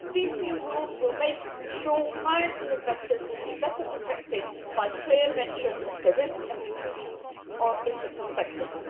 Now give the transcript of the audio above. These new rules will make sure that clients and investors will be better protected by clear mention of the risks and the inclusions in the prospectus.